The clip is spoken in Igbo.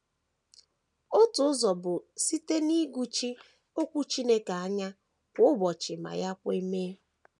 Otu ụzọ bụ site n’ịgụchi Okwu Chineke anya kwa ụbọchị ma ya kwe mee.